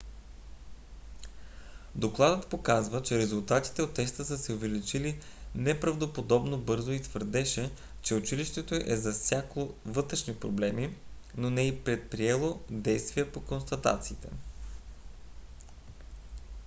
докладът показа че резултатите от теста са се увеличили неправдоподобно бързо и твърдеше че училището е засякло вътрешни проблеми но не е предприело действия по констатациите